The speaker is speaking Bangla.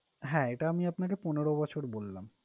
হ্যাঁ, এটা আমি আপনাকে পনেরো বছর বললাম।